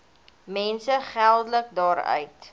mense geldelik daaruit